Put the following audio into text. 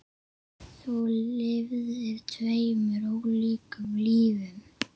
Þú lifðir tveimur ólíkum lífum.